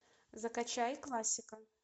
закачай классика